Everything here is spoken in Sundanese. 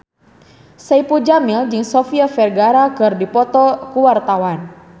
Saipul Jamil jeung Sofia Vergara keur dipoto ku wartawan